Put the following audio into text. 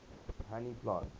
honey plants